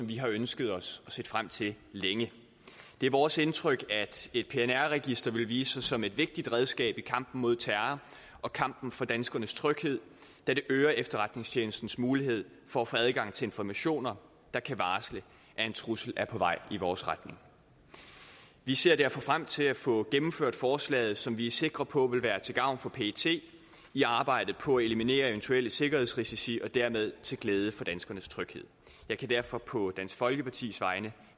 vi har ønsket os og set frem til længe det er vores indtryk at et pnr register vil vise sig som et vigtigt redskab i kampen mod terror og kampen for danskernes tryghed da det øger efterretningstjenestens mulighed for at få adgang til informationer der kan varsle at en trussel er på vej i vores retning vi ser derfor frem til at få gennemført forslaget som vi er sikre på vil være til gavn for pet i arbejdet på at eliminere eventuelle sikkerhedsrisici og dermed til glæde for danskernes tryghed jeg kan derfor på dansk folkepartis vegne